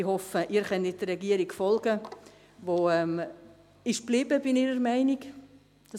Ich hoffe, dass Sie der Regierung folgen können, die bei ihrer Meinung geblieben ist.